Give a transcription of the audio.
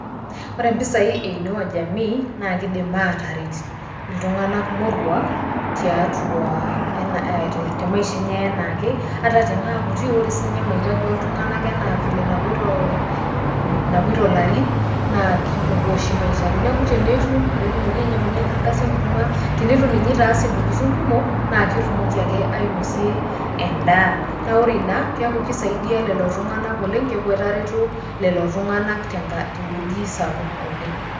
Wore impisai e[inua jamii, naa kiidim ataaret iltunganak moruak tiatua ene temaisha enye enaake ata tenaa kutik, wore sinye maitaji oltunganak enaa vile enepoito ehm napoito, napoito ilarin, naa ki pungua oshi maitaji. Neeku tenaa itum peetumoki anyiangunyie enkardasi enkurma, tenitu ninye itaas intokitin kumok, naa ketumoki ake, ainosie endaa. Naa wore inia, keeku kisaidia lelo tunganak oleng', keeku etareto lelo tunganak tenka tewueji sapuk oleng'.